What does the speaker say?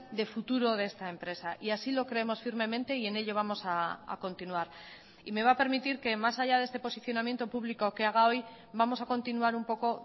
de futuro de esta empresa y así lo creemos firmemente y en ello vamos a continuar y me va a permitir que más allá de este posicionamiento público que haga hoy vamos a continuar un poco